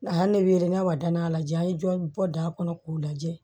A y'ale ne weele n'a wa danaya la ja an ye jɔ da kɔnɔ k'o lajɛ